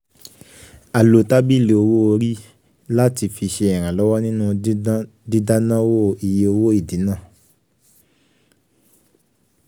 ọ̀nà owó um orí jẹ́ ọ̀kan lára àwọn ètò àkànṣe àwọn ètò àkànṣe ìfipamọ́ yìí. um